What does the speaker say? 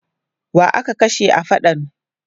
Wa aka kashe a faɗan?